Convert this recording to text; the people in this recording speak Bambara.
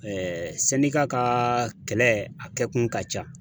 ka kɛlɛ a kɛkun ka ca.